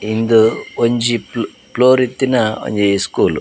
ಉಂದು ಒಂಜಿ ಪ್ಲೊ ಪ್ಲೋರ್ ಇತ್ತಿನ ಒಂಜಿ ಸ್ಕೂಲ್ .